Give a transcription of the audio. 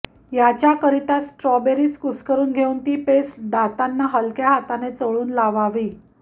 याच्याकरिता strawberries कुस्करून घेऊन ती पेस्ट दातांना हलक्या हाताने चोळून लावावी